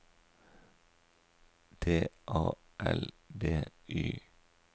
D A L B Y